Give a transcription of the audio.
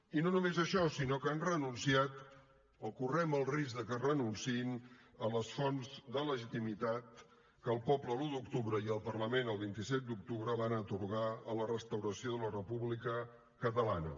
i no només això sinó que han renunciat o correm el risc que renunciïn a les fonts de legitimitat que el poble l’un d’octubre i el parlament el vint set d’octubre van atorgar a la restauració de la república catalana